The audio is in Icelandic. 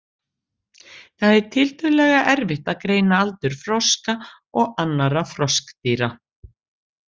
Það er tiltölulega erfitt að greina aldur froska og annarra froskdýra.